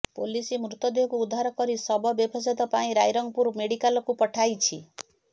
police ମୃତଦେହକୁ ଉଦ୍ଧାର କରି ଶବ ବ୍ୟବଚ୍ଛେଦ ପାଇଁ ରାଇରଙ୍ଗପୁର ମେଡିକାଲକୁ ପଠାଇଛି